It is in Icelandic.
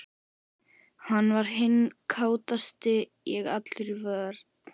Hann var hinn kátasti, ég allur í vörn.